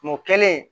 Kungo kelen